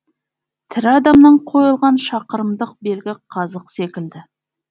тірі адамнан қойылған шақырымдық белгі қазық секілді